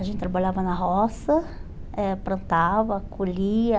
A gente trabalhava na roça, eh plantava, colhia.